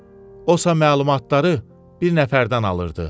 Osa məlumatları bir nəfərdən alırdı.